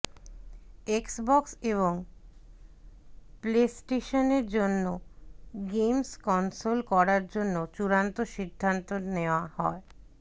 Xbox এবং প্লেস্টেশনের জন্য গেমস কনসোল করার জন্য চূড়ান্ত সিদ্ধান্ত নেওয়া হ